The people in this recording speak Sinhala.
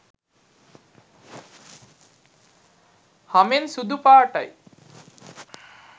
හමෙන් සුදු පාටයි